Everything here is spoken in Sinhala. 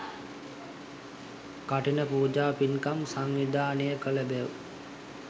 කඨින පූජා පින්කම් සංවිධානය කළ බැව්